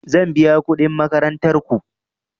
Zan biya kuɗin makarantar ku.